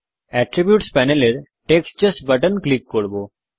attributes প্যানেলের text just button click করব